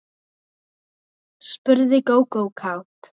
spurði Gógó kát.